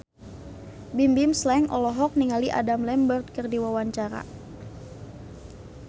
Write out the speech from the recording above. Bimbim Slank olohok ningali Adam Lambert keur diwawancara